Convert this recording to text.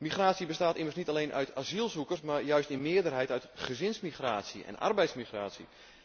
Migratie bestaat immers niet alleen uit asielzoekers, maar juist in meerderheid uit gezinsmigratie en arbeidsmigratie.